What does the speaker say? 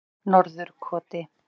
Norðurkoti